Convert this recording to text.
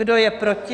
Kdo je proti?